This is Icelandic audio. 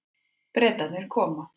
Bretarnir koma.